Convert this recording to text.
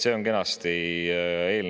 See on eelnõu kenasti leitav.